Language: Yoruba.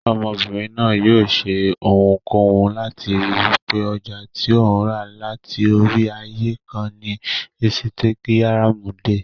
Ọmọbìnrin náà yóò ṣe ohunkóhun láti ríi wípé ọjà tí òun rà láti orí ààyè kan ni insitagiramu dé.